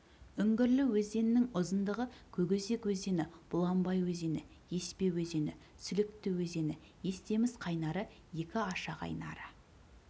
үңгірлі өзенінің ұзындығы көкөзек өзені бұланбай өзені еспе өзені сүлікті өзені естемес қайнары екі аша қайнары